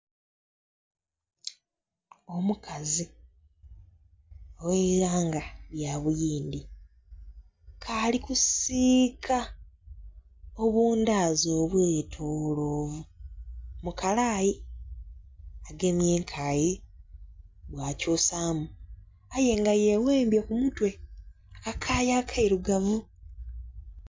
Omukazi ogh'eighanga lya buyindi k'ali kusiika obundaazi obwetolovu mu kalaayi, agemye enkaayi bwakyusaamu, aye nga yeghembye ku mutwe, akakaaya akailugavu.